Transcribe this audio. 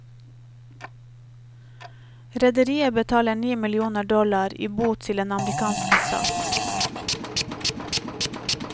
Rederiet betaler ni millioner dollar i bot til den amerikanske stat.